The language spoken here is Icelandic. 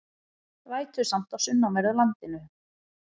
Vætusamt á sunnanverðu landinu